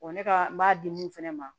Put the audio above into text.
ne ka n b'a di mun fɛnɛ ma